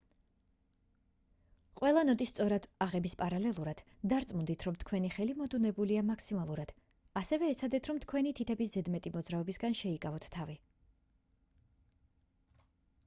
ყველა ნოტის სწორად აღების პარალელურად დარწმუნდით რომ თქვენი ხელი მოდუნებულია მაქსიმალურად ასევე ეცადეთ რომ თქვენი თითების ზედმეტი მოძრაობებისგან შეიკავოთ თავი